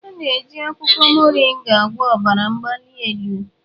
A na-eji akwụkwọ Mọringa agwọ ọbara mgbali elu.